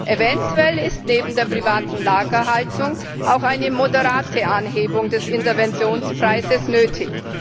Eventuell ist neben der privaten Lagerhaltung auch eine moderate Anhebung des Interventionspreises nötig.